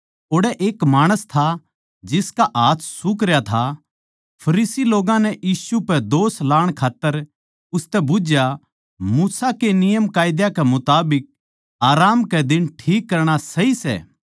ओड़ै एक माणस था जिसका हाथ सुखरया था फरीसी लोग्गां नै यीशु पै दोष लाण खात्तर उसतै बुझ्झया मूसा के नियमकायदा कै मुताबिक आराम कै दिन ठीक करणा सही सै